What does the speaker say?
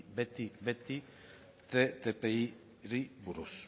beti ttipari buruz